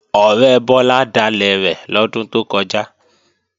Ọ̀rẹ́ Bọ́lá dalẹ̀ rẹ̀ lọ́dún tó kọjá